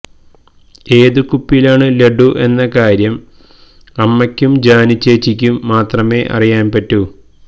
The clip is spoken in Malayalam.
ഏതു കുപ്പിയിലാണ് ലഡ്ഡു എന്ന കാര്യം അമ്മയ്ക്കും ജാനുച്ചേച്ചിക്കും മാത്രമേ അറിയാൻ പറ്റൂ